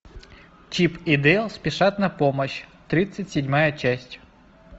чип и дейл спешат на помощь тридцать седьмая часть